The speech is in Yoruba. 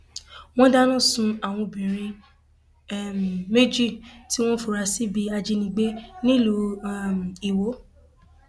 wọn dáná sun àwọn obìnrin um méjì tí wọn fura sí bíi ajínigbé nílùú um iwọ